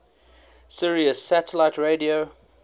sirius satellite radio